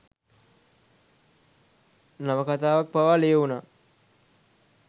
නවකතාවක් පවා ලියවුනා.